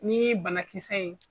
Ni banakisɛ ye.